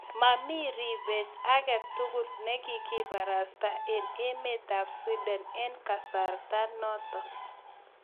Mamii ribot ake tugul ne kigibarasta eng emet ab sweden eng kasartanoto